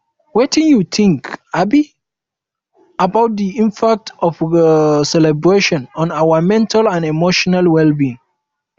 um wetin you think um about di impact of celebrations on our mental and emotional um wellbeing